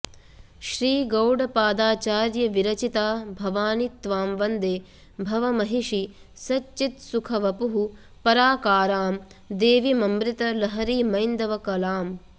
श्री गौडपादाचार्य विरचिता भवानि त्वां वन्दे भवमहिषि सच्चित्सुखवपुः पराकारां देवीममृतलहरीमैन्दवकलाम्